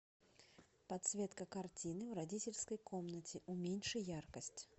подсветка картины в родительской комнате уменьши яркость